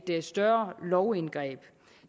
et større lovindgreb